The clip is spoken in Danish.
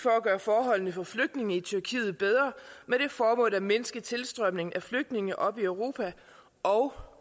at gøre forholdene for flygtninge i tyrkiet bedre med det formål at mindske tilstrømningen af flygtninge op i europa og